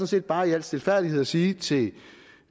set bare i al stilfærdighed at sige til